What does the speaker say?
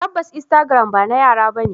Tabbas instagram bana yara bane.